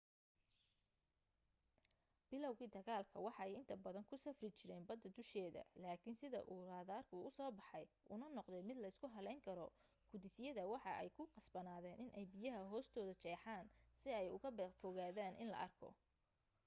bilawgi dagaalka waxa ay inta badan ku safri jireen bada dusheeda laakin sida uu raaderku uu uso baxay una noqday mid leysku haleyn karo gudis yada waxa ay ku qasbanaadeyn in ay biyaha hoostoda jeexan si ay uuga fogaadan in la arko